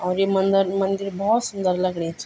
और ये मंदर मंदिर बहौत सुन्दर लगणी च।